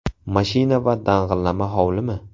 Mashina va dang‘illama hovlimi?